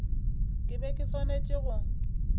ke be ke swanetše go